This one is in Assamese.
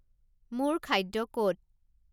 মোৰ খাদ্য ক'ত